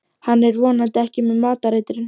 Hann er vonandi ekki með matareitrun.